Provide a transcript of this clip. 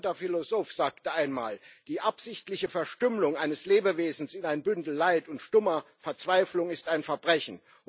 Ein bekannter Philosoph sagte einmal Die absichtliche Verstümmelung eines Lebewesens in ein Bündel Leid und stummer Verzweiflung ist ein Verbrechen.